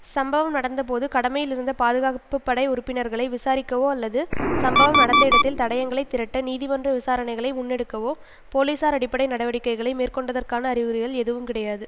சம்பவம் நடந்த போது கடமையில் இருந்த பாதுகாப்பு படை உறுப்பினர்களை விசாரிக்கவோ அல்லது சம்பவம் நடந்த இடத்தில் தடயங்களை திரட்ட நீதிமன்ற விசாரணைகளை முன்னெடுக்கவோ போலிசார் அடிப்படை நடவடிக்கைகளை மேற்கொண்டதற்கான அறிகுறிகள் எதுவும் கிடையாது